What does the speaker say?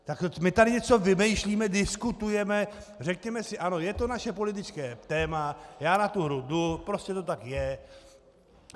Tak my tu něco vymýšlíme, diskutujeme, řekněme si: ano, je to naše politické téma, já na tu hru jdu, prostě to tak je.